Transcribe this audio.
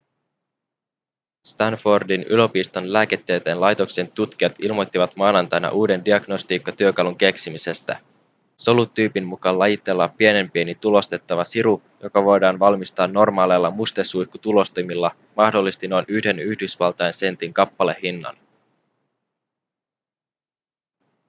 stanfordin yliopiston lääketieteen laitoksen tutkijat ilmoittivat maanantaina uuden diagnostiikkatyökalun keksimisestä solut tyypin mukaan lajitteleva pienenpieni tulostettava siru joka voidaan valmistaa normaaleilla mustesuihkutulostimilla mahdollisesti noin yhden yhdysvaltain sentin kappalehintaan